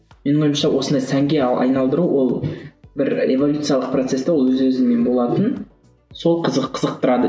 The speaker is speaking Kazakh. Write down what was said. менің ойымша осылай сәнге айналдыру ол бір эволюциялық процесті ол өз өзімен болатын сол қызықтырады